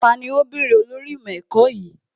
Tani ó bèrè olórí ìmọ̀ ẹ̀kọ́ yìí?